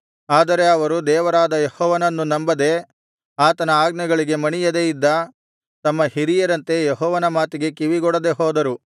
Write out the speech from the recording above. ಆದರೆ ಅವರು ದೇವರಾದ ಯೆಹೋವನನ್ನು ನಂಬದೆ ಆತನ ಆಜ್ಞೆಗಳಿಗೆ ಮಣಿಯದೆ ಇದ್ದ ತಮ್ಮ ಹಿರಿಯರಂತೆ ಯೆಹೋವನ ಮಾತಿಗೆ ಕಿವಿಗೊಡದೆ ಹೋದರು